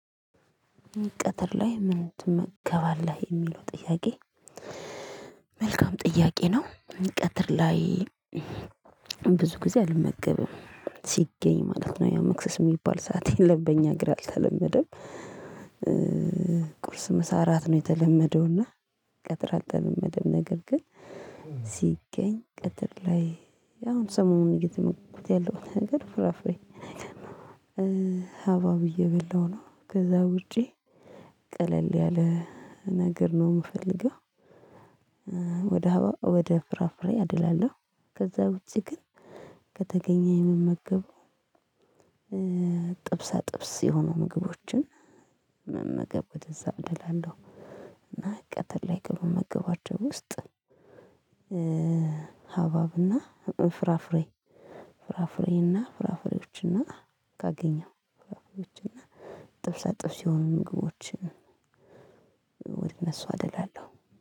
ቀትር ላይ ምን ትመገባለህ የሚለው ጥያቄ መልካም ጥያቄ ነው። ቀትር ላይ ብዙ ጊዜ አልመገብም ሲገኝ ማለት ነው ያ መክሰስ የሚባል ሰዓት የለም በእኛ ሀገር አልተለመደም። ቁርስ ምሳ እራት ነው የተለመደው እና ቀትር አልተለመደም ነገር ግን ሲገኝ ቀትር ላይ አሁን ሰሞኑን እየተመገብኩት ያለሁት ነገር ፍራፍሬ ነገር ነው። ሀባብ እየበላሁ ነው ከዛ ውጪ ቀለል ያለ ነገር ነው የምፈልገው። ወደ ሀባብ ወደ ፍራፍሬ አደላለሁ ከዛ ውጪ ግን ከተገኘ የምመገበው። ጥብስ የሆኑ ምግቦችን መመገብ ወደዛ አደላለው እና ቀትር ላይ ከሚመገባቸው ውስጥ። ሀባብና ፍራፍሬ ፍራፍሬና ፍራፍሬዎችና ካገኘው ፍራፍሬዎችና ጥብሳ ጥብስ የሆኑ ምግቦችን ወደ እነሱ አደላለሁ።